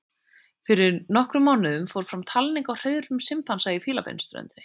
Fyrir nokkrum mánuðum fór fram talning á hreiðrum simpansa á Fílabeinsströndinni.